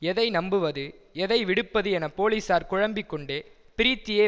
எதை நம்புவது எதை விடுப்பது என போலீஸார் குழம்பிக் கொண்டே ப்ரீத்தியை